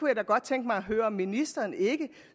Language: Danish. jeg da godt tænke mig at høre om ministeren ikke